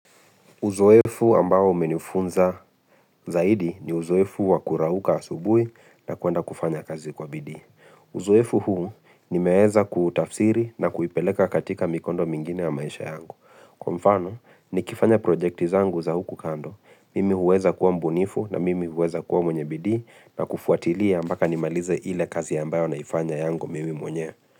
Uzoefu ambao umenifunza zaidi ni uzoefu wa kurauka asubuhi na kuenda kufanya kazi kwa bidii. Uzoefu huu nimeweza kutafsiri na kuipeleka katika mikondo mingine ya maisha yangu. Kwa mfano nikifanya projekti zangu za huku kando, mimi huweza kuwa mbunifu na mimi huweza kuwa mwenye bidii na kufuatilia mpaka nimalize ile kazi ambayo naifanya yangu mimi mwenyewe.